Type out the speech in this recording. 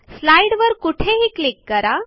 स्लाईडवर कुठेही क्लिक करा